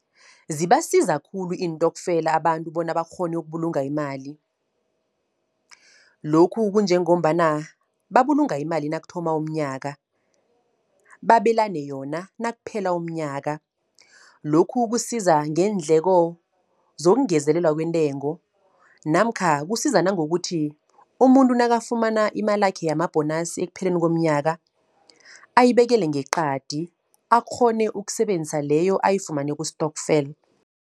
Zibasiza khulu iintokfela abantu bona bakghone ukubulunga imali. Lokhu kunjengombana, babulunga imali nakuthoma umnyaka. Babelane yona nakuphela umnyaka. Lokhu kusiza ngeendleko zongezelelwa kwentengo. Namkha kusiza nangokuthi, umuntu nakafuna imalakhe yama-bonus ekupheleni komnyaka ayibekele ngeqadi, akghone ukusebenzisa leyo ayifumane kustokfela.